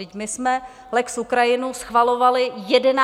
Vždyť my jsme lex Ukrajina schvalovali 11. března.